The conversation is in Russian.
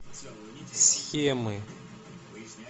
схемы